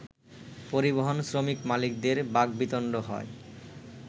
পরিবহন শ্রমিক-মালিকদের বাকবিতণ্ড হয়